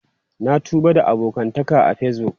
Na tuba da abokantaka a Facebook.